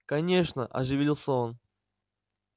конечно оживился он